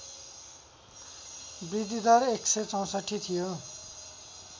बृद्धिदर १६४ थियो